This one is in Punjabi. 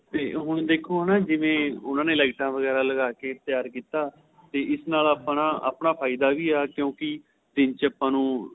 ਤੇ ਹੁਣ ਦੇਖੋ ਹੁਣ ਜਿਵੇਂ ਉਹਨਾ ਨੇ ਲਾਈਟਾਂ ਲੁਈਟਾਂ ਵਗੇਰਾ ਲਾਕੈ ਤਿਆਰ ਕੀਤਾ ਤੇ ਇਸ ਨਾਲ ਆਪਣਾ ਆਪਣਾ ਫਾਇਦਾ ਵੀ ਏ ਕਿਉਂਕਿ ਦਿਨ ਆਪਾਂ ਨੂੰ